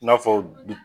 I n'a fɔ